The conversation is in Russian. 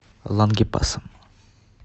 лангепасом